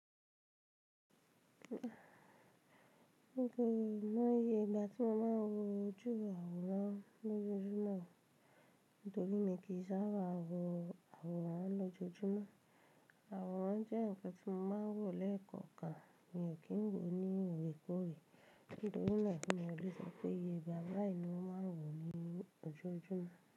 Mi ò mọ̀ iye ìgbà tí mo máa ń wo ojú àwòrán lójoojúmọ́ nítorí mi kì í sáábà wo àwòrán lójoojúmọ́. Àwòrán jẹ́ nǹkan tí mo máa ń wò lẹ́ẹ̀kọ̀kan, mi ò kí n wò ní óòrèkóòrè nítorí náà mi o lè sọ pé iyẹ ìgbà báyìí ni mo máa ń wò ní ójoojúmọ́.